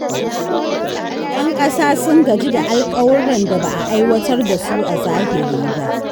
’Yan kasa sun gaji da alkawurran da ba a aiwatar da su a zahiri ba.